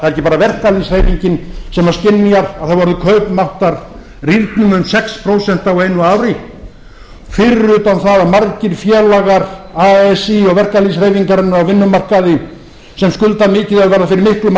ekki bara verkalýðshreyfingin sem skynjar að það hafi orðið kaupmáttarrýrnun um sex prósent á einu ári fyrir utan það að margir félagar así og verkalýðshreyfingarinnar á vinnumarkaði sem skulda mikið og verða fyrir miklum